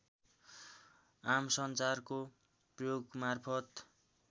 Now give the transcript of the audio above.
आमसञ्चारको प्रयोगमार्फत